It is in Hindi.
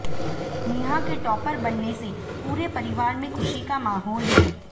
नेहा के टॉपर बनने से पूरे परिवार में खुशी का माहौल है